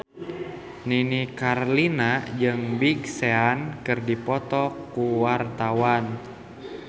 Nini Carlina jeung Big Sean keur dipoto ku wartawan